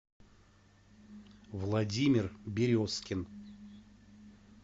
владимир березкин